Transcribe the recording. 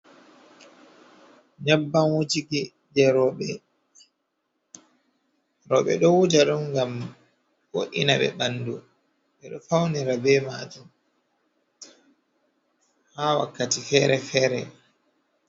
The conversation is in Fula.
Nyabbam wujiki je roɓe, ɗo wuja ɗum ngam wo’ina ɓe bandu be ɗo faunira ɓe majum ha wakkati fere-fere.